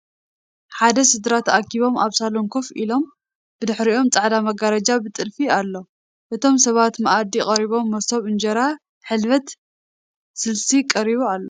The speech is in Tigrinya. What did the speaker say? ሓደ ስድራ ተኣኪቦም ኣብ ሳሎን ኮፍ ኢለም ብድሕሪኦም ፃዕዳ መጋረጃ ብጥልፊ ኣሎ ። እቶም ሰባት መኣዲ ቀሪቦም መሶብ፣ እንጀራ፣ ሕልበት፣ ስልሲ ቀሪቡ ኣሎ ።